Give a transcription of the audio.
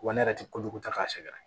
Wa ne yɛrɛ tɛ kojugu ta k'a sɛgɛrɛ